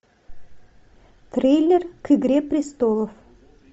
трейлер к игре престолов